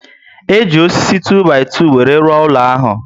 E ji osisi 2-by-2 were rụọ ụlọ ahu